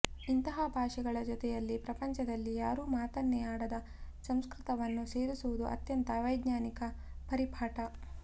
ಇಂತಹ ಭಾಷೆಗಳ ಜೊತೆಯಲ್ಲಿ ಪ್ರಪಂಚದಲ್ಲಿ ಯಾರೂ ಮಾತನ್ನೇ ಆಡದ ಸಂಸ್ಕೃತವನ್ನು ಸೇರಿಸುವುದು ಅತ್ಯಂತ ಅವೈಜ್ಞಾನಿಕವಾದ ಪರಿಪಾಠ